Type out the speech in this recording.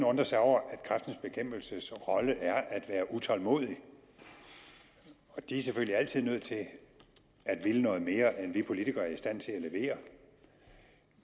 undre sig over at kræftens bekæmpelses rolle er at være utålmodig og de er selvfølgelig altid nødt til at ville noget mere end vi politikere er i stand til at levere